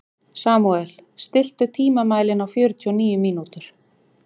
Samúel, stilltu tímamælinn á fjörutíu og níu mínútur.